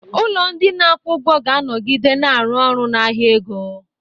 Ụlọ ndị na-akwụ ụgwọ ga-anọgide na-arụ ọrụ na ahịa ego.